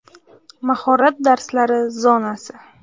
Mahorat darslari zonasi.